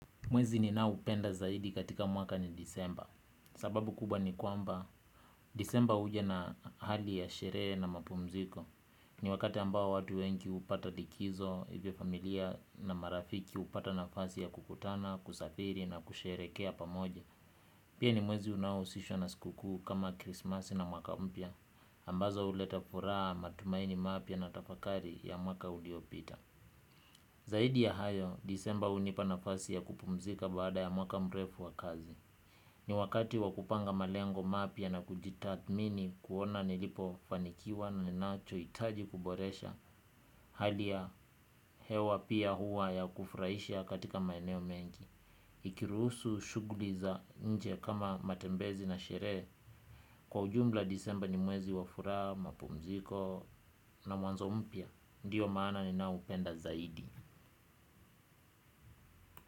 Mwezi ninao upenda zaidi katika mwaka ni disemba. Sababu kubwa ni kwamba, disemba huja na hali ya sherehe na mapumziko. Ni wakati ambao watu wengi hupata likizo hivyo familia na marafiki hupata nafasi ya kukutana, kusafiri na kusherehekea pamoja. Pia ni mwezi unaohusishwa na siku kuu kama krismasi na mwaka mpya, ambazo huleta furaha matumaini mapya na tafakari ya mwaka uliopita. Zaidi ya hayo, disemba hunipa nafasi ya kupumzika baada ya mwaka mrefu wa kazi. Ni wakati wa kupanga malengo mapya na kuji tathmini kuona nilipofanikiwa na nina cho hitaji kuboresha hali ya hewa pia hua ya kufurahisha katika maeneo mengi. Ikiruhusu shuguli za nje kama matembezi na sherehe, kwa ujumla disemba ni mwezi wa furaha, mapumziko na mwanzo mpya. Ndio maana ninaopenda zaidi.